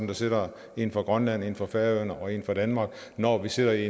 der sidder en fra grønland en fra færøerne og en fra danmark når vi sidder i